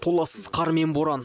толассыз қар мен боран